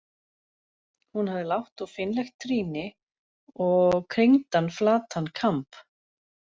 Hún hafði lágt og fínlegt trýni og kringdan flatan kamb.